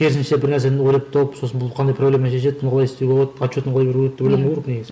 керісінше бір нәрсені ойлап тауып сосын бұл қандай проблема шешеді бұны қалай істеуге болады отчетін қалай беруге болады деп ойламау керек негізі